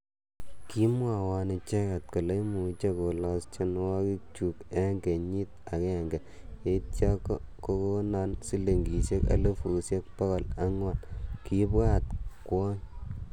"Kimwowon icheget kole imuch kolos tienwogikchuk en kenyit agenge, yeityo ko konoon silingisiek elfusiek bogol angwan," Kibwat kwony.